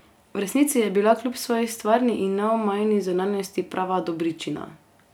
V resnici je bila kljub svoji stvarni in neomajni zunanjosti prava dobričina.